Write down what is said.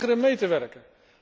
Die weigeren mee te werken.